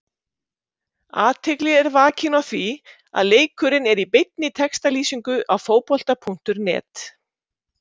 Athygli er vakin á því að leikurinn er í beinni textalýsingu á Fótbolta.net.